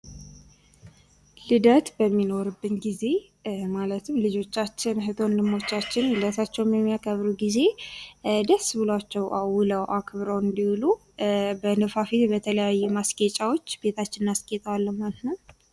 ልደት በሚኖርብን ጊዜ ማለትም ልጆቻችን እህት ወንድሞቻችን ልደታቸውን በሚያከብሩ ጊዜ ደስ ብሏቸው ውለው አክብረው እንድውሉ በነፋፊ በተለያየ ማስጌጫዎች ቤታችንን እናስጌጠዋለን ማለት ነው።